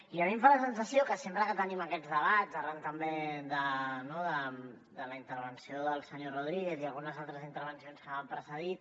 i a mi em fa la sensació que sempre que tenim aquests debats arran també de la intervenció del senyor rodríguez i algunes altres intervencions que m’han precedit